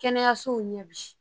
Kɛnɛyasow ɲɛ bi